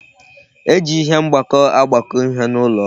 E ji ihe mgbakọ agbakọ ihe n'ụlọ ọrụ